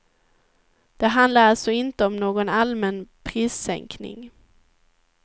Det handlar alltså inte om någon allmän prissänkning.